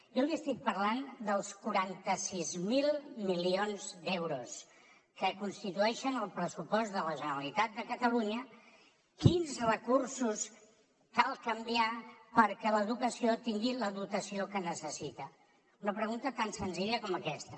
jo li estic parlant dels quaranta sis mil milions d’euros que constitueixen el pressupost de la generalitat de catalunya quins recursos cal canviar perquè l’educació tingui la dotació que necessita una pregunta tan senzilla com aquesta